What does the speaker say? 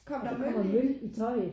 Der var møl i tøjet